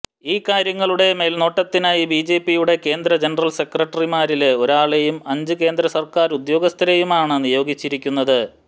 ഈ കാര്യങ്ങളുടെ മേല്നോട്ടത്തിനായി ബിജെപിയുടെ കേന്ദ്ര ജനറല് സെക്രട്ടറിമാരില് ഒരാളെയും അഞ്ചു കേന്ദ്ര സര്ക്കാര് ഉദ്യോഗസ്ഥരെയുമാണ് നിയോഗിച്ചിരിക്കുന്നത്